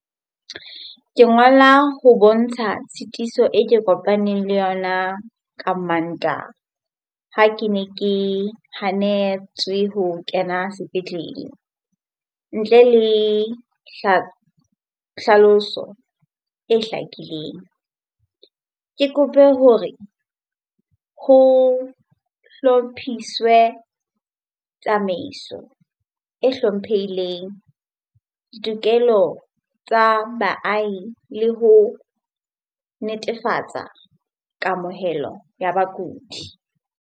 Ke ngola ho bontsha tshitiso e ke kopaneng le yona ka Mantaha ha ke ne ke hanetswe ho kena sepetlele ntle le hlaloso e hlakileng. Ke kope hore ho hlophiswe tsamaiso e hlomphehileng, ditokelo tsa baahi le ho netefatsa kamohelo ya bakudi.